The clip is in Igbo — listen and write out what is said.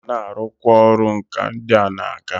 Ha ga na arukwa oru nka ndia na aga.